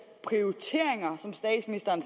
prioriteringer som statsministeren